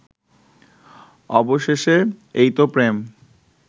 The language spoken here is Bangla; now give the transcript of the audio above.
অবশেষে এইতো প্রেম